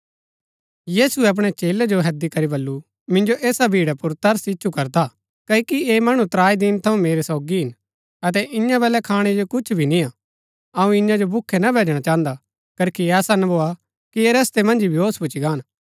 यीशुऐ अपणै चेलै जो हैदी करी बल्लू मिन्जो ऐसा भीड़ा पुर तरस इच्छु करदा क्ओकि ऐह मणु त्राई दिन थऊँ मेरै सोगी हिन अतै ईयां बलै खाणै जो कुछ भी निय्आ अऊँ ईयां जो भूखै ना भैजणा चाहन्दा करखी ऐसा ना भोआ कि ऐह रस्तै मन्ज ही बेहोश भूच्ची गान